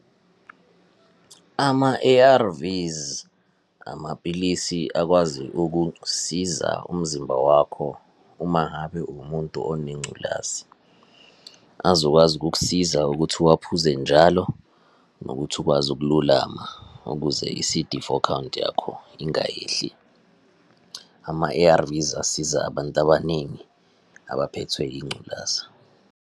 Ama-A_R_Vs, amapilisi akwazi ukusiza umzimba wakho, uma ngabe uwumuntu onengculazi. Azokwazi ukukusiza ukuthi uwaphuze njalo, nokuthi ukwazi ukululama, ukuze i-C_D four count yakho ingayehli. Ama-A_R_Vs asiza abantu abaningi abaphethwe yingculaza.